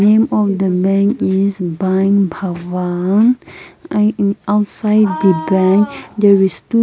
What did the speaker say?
name of the bank is bank bhavan and in outside the bank there is two--